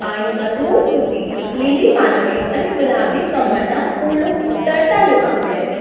પાણીમાં દૂર સુધી લીલી પાંદડીઓ અને ગુલાબી કમળના ફૂલો તરતા જોવા મળે છે.